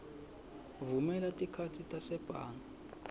vumela tikhatsi tasebhange